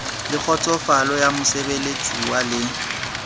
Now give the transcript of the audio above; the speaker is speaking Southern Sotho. le kgotsofalo ya mosebeletsuwa le